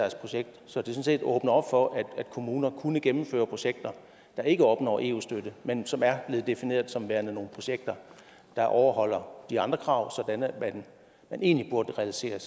sådan set åbner op for at kommuner kunne gennemføre projekter der ikke opnår eu støtte men som er blevet defineret som værende nogle projekter der overholder de andre krav sådan at man egentlig burde realisere